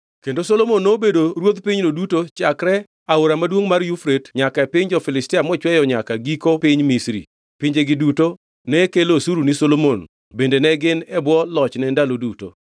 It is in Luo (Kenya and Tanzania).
Kendo Solomon nobedo ruodh pinyno duto chakre Aora maduongʼ mar Yufrate nyaka e piny jo-Filistia mochweyo nyaka giko piny Misri. Pinjegi duto ne kelo osuru ni Solomon bende ne gin e bwo lochne ndalo duto.